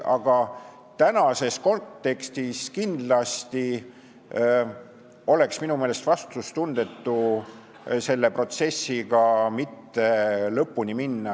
Aga tänases kontekstis oleks minu meelest kindlasti vastutustundetu selle protsessiga mitte lõpuni minna.